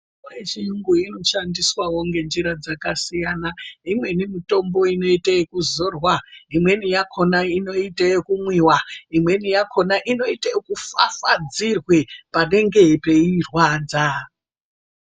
Mitombo yechirungu inoshandiswao ngenjira dzakasiyana imweni mitombo inoite ekuzorwa imweni yakhona inoite ekumwiwa imweni yakhona inoite ekufafadzirwe panenge peirwadza.